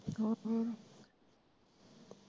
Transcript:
ਹੋਰ ਹੋਰ।